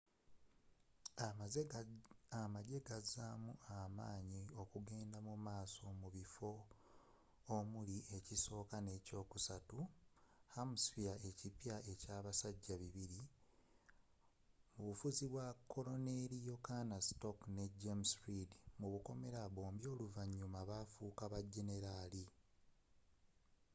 emajje agazaamu amaanyi okugenda mumaaso mubiffo mulimu ekisooka n’ekyokusatu hampshie ekipyaekyabasajja 200 mubufuzi bwa koloneli john stark ne james reed bombi oluvanyuma bafuuka ba genelaali